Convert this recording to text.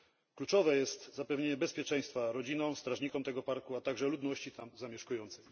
Kluczowe jest zapewnienie bezpieczeństwa rodzinom, strażnikom tego parku, a także ludności tam zamieszkującej.